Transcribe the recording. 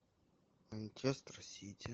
манчестер сити